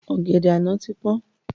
Ọ̀gẹ̀dẹ̀ àná ti pọ́n